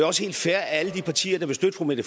også helt fair at alle de partier der vil støtte fru mette